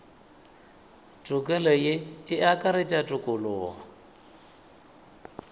tokelo ye e akaretša tokologo